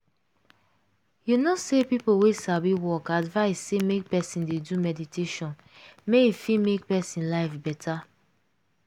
you know say people wey sabi work advice say make person dey do meditation make e fit make person life better.